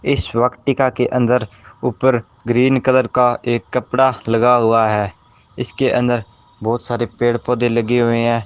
इस वक्टिका के अंदर ऊपर ग्रीन कलर का एक कपड़ा लगा हुआ है इसके अंदर बहुत सारे पेड़ पौधे लगे हुए हैं।